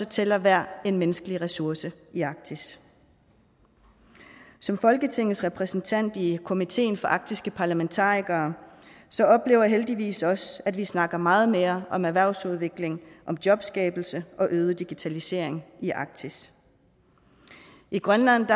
tæller hver en menneskelig ressource i arktis som folketingets repræsentant i komiteen for arktiske parlamentarikere oplever jeg heldigvis også at vi snakker meget mere om erhvervsudvikling jobskabelse og øget digitalisering i arktis i grønland